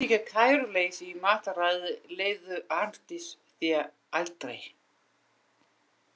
Viðlíka kæruleysi í mataræði leyfði Arndís sér aldrei.